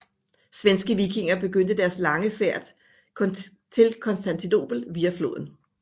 Svenske vikinger begyndte deres lange færd til Konstantinopel via floden